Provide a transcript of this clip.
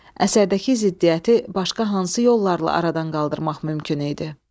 Əsərdəki ziddiyyəti başqa hansı yollarla aradan qaldırmaq mümkün idi?